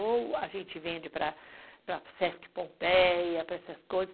Ou a gente vende para SESC Pompeia, para essas coisas.